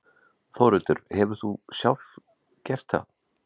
Þórhildur: Hefur þú sjálf gert það?